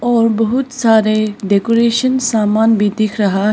और बहुत सारे डेकोरेशन सामान भी दिख रहा है।